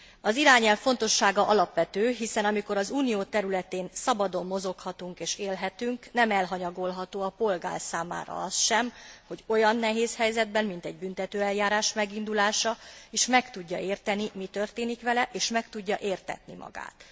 Az irányelv fontossága alapvető, hiszen amikor az Unió területén szabadon mozoghatunk és élhetünk, nem elhanyagolható a polgár számára az sem, hogy olyan nehéz helyzetben, mint egy büntetőeljárás megindulása is, meg tudja érteni, hogy mi történik vele és meg tudja értetni magát.